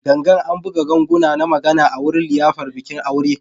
Gangan, an buga ganguna na magana a wurin liyafar bikin aure